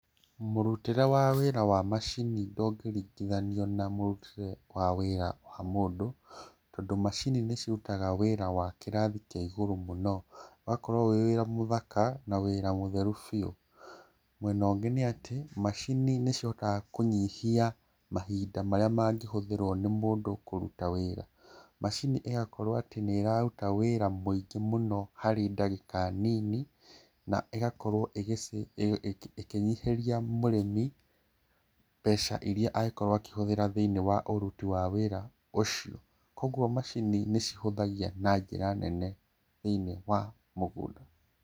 Mũrutĩre wa wĩra wa macini, ndũngĩ ringithania na mũrutĩre wa wira wa mũndũ, tondũ macini nĩ cirutaga wĩra wa kĩrathi kĩa igũrũ mũno, ũgakorwo wĩ wira mũthaka, na wĩra mũtherũ biũ. Mwena ũngĩ nĩ atĩ macini nĩ ciũkaga kũnyihia mahĩnda marĩa mangĩhũthĩrwo nĩ mũndũ kũruta wĩra, macini ĩgakorwo atĩ nĩ ĩrarũta wĩra mũingĩ mũno harĩ ndagĩka nini, na ĩgakowro ĩgĩ cĩ nyihiria mũrĩmi , mbeca iria angĩkorwo akĩhũthĩra thĩi-inĩ wa ũrũti wa wĩra ũcio. Kũguo macini nĩ cihũthagia na njĩra nene thĩi-inĩ wa mũgũnda.